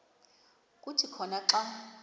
kuthi khona xa